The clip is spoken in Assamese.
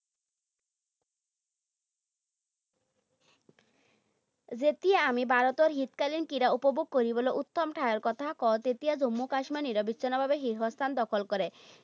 যেতিয়াই আমি ভাৰতৰ শীতকালীন ক্ৰীড়া উপভোগ কৰিবলৈ উত্তম ঠাইৰ কথা কওঁ, তেতিয়া জম্মু কাশ্মীৰে নিৰৱিচ্ছিন্নভাৱে শীৰ্ষস্থান দখল কৰে।